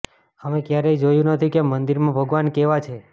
અમે ક્યારેય જોયું નથી કે મંદિરમાં ભગવાન કેવા છે